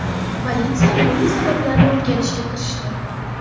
Politsiya buning sabablarini o‘rganishga kirishdi.